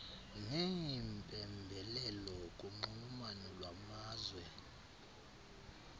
neempembelelo kunxulumano lwamazwe